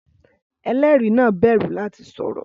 Ẹlẹ́rìí náà bẹ̀rù láti sọ̀rọ̀